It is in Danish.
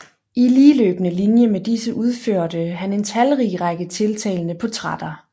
I ligeløbende linje med disse udførte han en talrig række tiltalende portrætter